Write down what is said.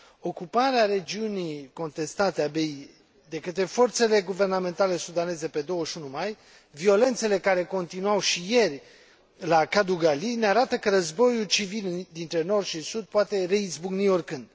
Ocuparea regiunii contestate Abiey de către forțele guvernamentale sudaneze pe 21 mai, violențele care continuau și ieri la Kadugli ne arată că războiul civil dintre nord și sud poate reizbucni oricând.